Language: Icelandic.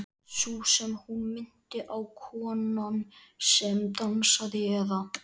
Sú sem hún minnti á, konan sem dansaði, eða.